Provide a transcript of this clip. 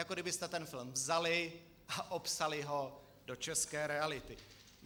Jako kdybyste ten film vzali a opsali ho do české reality.